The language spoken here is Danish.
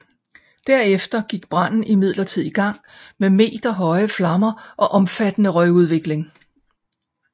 Derefter gik branden imidlertid i gang med meterhøje flammer og omfattende røgudvikling